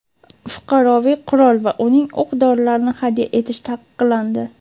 Fuqaroviy qurol va uning o‘q-dorilarini hadya etish taqiqlandi.